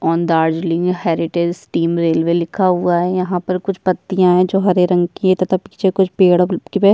on Darjeeling heritage steam railway लिखा हुआ है यहाँ पर कुछ पतियां है जो हरे रंग की है तथा पीछे कुछ पेड़ --